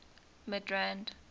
midrand